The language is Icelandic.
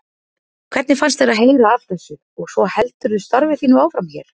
Hvernig fannst þér að heyra af þessu og svo heldurðu starfi þínu áfram hér?